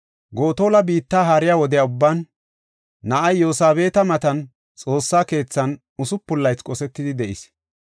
Gotola biitta haariya wode ubban, na7ay Yosabeeti matan, Xoossa keethan usupun laythi qosetidi de7is.